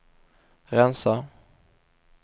rensa